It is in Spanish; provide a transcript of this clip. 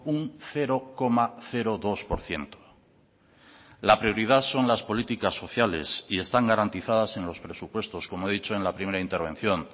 un cero coma dos por ciento la prioridad son las políticas sociales y están garantizadas en los presupuestos como he dicho en la primera intervención